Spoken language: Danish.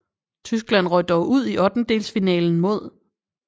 Tyskland røg dog ud i ottendedelsfinalen mod